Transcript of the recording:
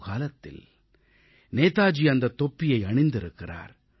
ஒருகாலத்தில் நேதாஜி அந்தத் தொப்பியை அணிந்திருக்கிறார்